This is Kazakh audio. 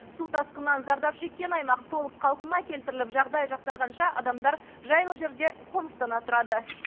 су тасқынынан зардап шеккен аймақ толық қалпына келтіріліп жағдай жақсарғанша адамдар жайлы жерде қоныстана тұрады